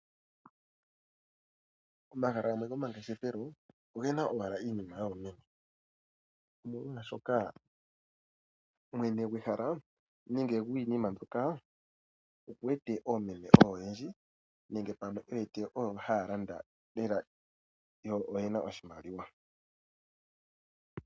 Omahala gomangeshefelo ogena owala iinima yoomeme, omolwashoka mwene gwehala nenge gwiina mbyoka oku wete oomeme oyo oyendji nenge pamwe oyo haya landa lele, yo oyena oshimaliwa.